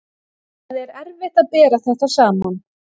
Það er erfitt að bera þetta saman.